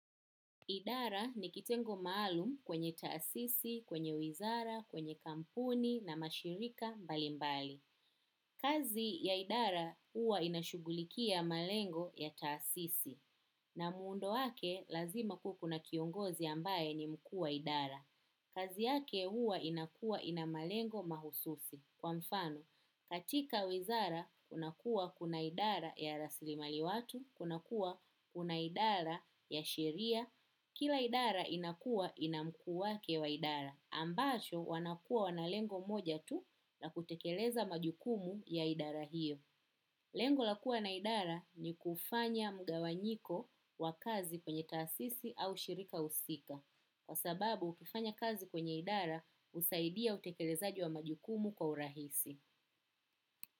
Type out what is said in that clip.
Idara ni kitengo maalumu kwenye taasisi kwenye wizara kwenye kampuni na mashirika mbalimbali. Kazi ya idara huwa inashughulikia malengo ya taasisi. Na muundo wake lazima kuwe kuna kiongozi ambaye ni mkuu wa idara. Kazi yake huwa inakuwa ina malengo mahususi. Kwa mfano, katika wizara, kunakuwa kuna idara ya rasilimali watu, kunakuwa kuna idara ya sheria. Kila idara inakuwa ina mkuu wake wa idara. Ambacho wanakuwa wana lengo moja tu la kutekeleza majukumu ya idara hiyo. Lengo la kuwa na idara ni kufanya mgawanyiko wa kazi kwenye taasisi au shirika husika. Kwa sababu ukifanya kazi kwenye idara husaidia utekelezaji wa majukumu kwa urahisi.